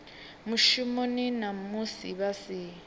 mushumoni na musi vha si